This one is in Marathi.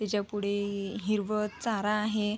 त्याच्या पुढे हिरवळ चारा आहे.